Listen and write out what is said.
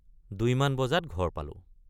দুইমান বজাত ঘৰ পালোঁ।